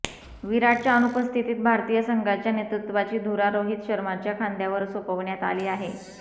विराटच्या अनुपस्थितीत भारतीय संघाच्या नेतृत्त्वाची धुरा रोहित शर्माच्या खांद्यावर सोपवण्यात आली आहे